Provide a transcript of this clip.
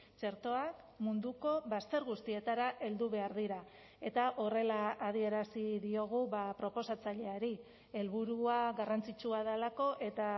txertoak munduko bazter guztietara heldu behar dira eta horrela adierazi diogu proposatzaileari helburua garrantzitsua delako eta